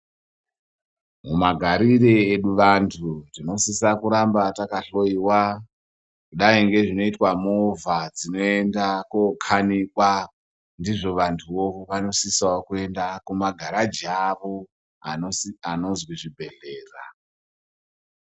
Mumagarire edu vanthu tinosisa kuramba takahloyiwa kudayi ngezvinoitwa movha dzinoenda kookhanikwa, ndizvo vanthuwo vanosisa kuenda kumagaraji avo anosi anozwi zvibhedhlera.